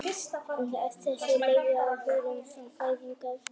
En af þessu leiðir ekki að hugurinn sé við fæðingu óskrifað blað.